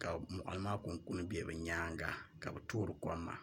ka moɣali maa kunkun bɛ bi nyaanga ka bi toori kom maa